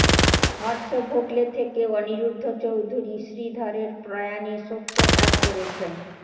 হর্ষ ভোগলে থেকে অনিরুদ্ধ চৌধুরি শ্রীধরের প্রয়াণে শোকপ্রকাশ করেছেন